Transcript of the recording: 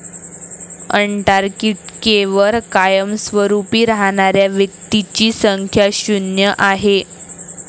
अंटार्क्टिकेवर कायमस्वरुपी राहणाऱ्या व्यक्तींची संख्या शुन्य आहे.